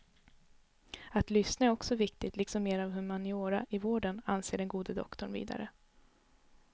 Att lyssna är också viktigt, liksom mera av humaniora i vården, anser den gode doktorn vidare.